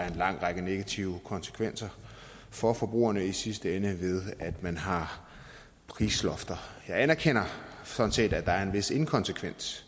en lang række negative konsekvenser for forbrugerne i sidste ende at man har prislofter jeg anerkender sådan set at der er en vis inkonsekvens